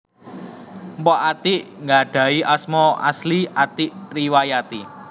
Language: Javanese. Mpok Atiek nggadhahi asma asli Atiek Riwayati